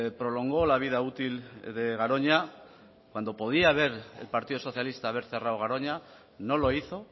prolongó la vida útil de garoña cuando podía haber el partido socialista haber cerrado garoña no lo hizo